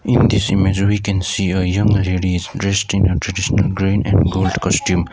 in this image we can see a young lady is dressed in a traditional green and gold costume.